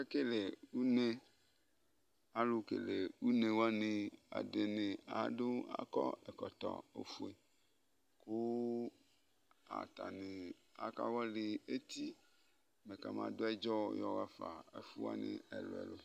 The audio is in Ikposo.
ake kele une alò kele une wani ɛdini adu akɔ ɛkɔtɔ ofue kò atani aka wɔli eti mɛ kama do ɛdzɔ yɔ ɣa fa n'ɛfu wani ɛlò ɛlò